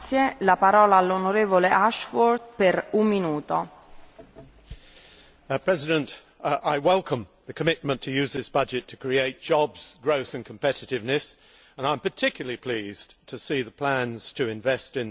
Madam President, I welcome the commitment to use this budget to create jobs, growth and competitiveness, and I am particularly pleased to see the plans to invest in the single market, research and development and the environment.